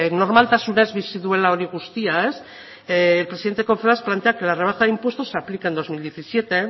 normaltasunez bizi duela hori guztia el presidente de confebask plantea que la rebaja de impuestos se aplique en dos mil diecisiete